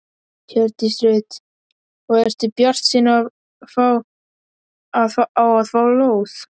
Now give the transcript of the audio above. Hjördís Rut: Og ertu bjartsýn á að fá lóð?